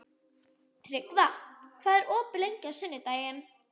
Tryggva, hvað er opið lengi á sunnudaginn?